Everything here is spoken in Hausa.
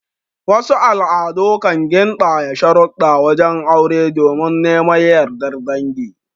Wasu al'adu kanyi kan gindaya sharudda wajen aure domin neman yardar dangi